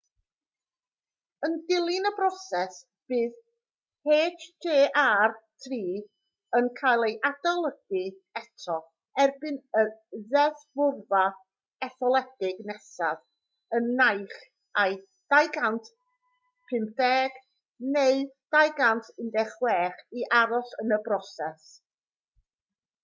yn dilyn y broses bydd hjr-3 yn cael ei adolygu eto erbyn y ddeddfwrfa etholedig nesaf yn naill ai 2015 neu 2016 i aros yn y broses